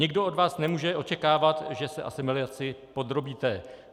Nikdo od vás nemůže očekávat, že se asimilaci podrobíte.